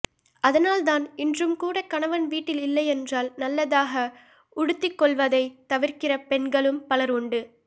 அதனால்தான் இன்றும் கூட கணவன் வீட்டில் இல்லையென்றால் நல்லதாக உடுத்திக்கொள்வதைத் தவிர்க்கிற பெண்கள் பலரும் உண்டு